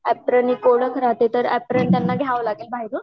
अपरेण हे राहते तर अपरेण त्यांना घ्याव लागेल बाहेरून